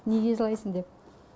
неге жылайсың деп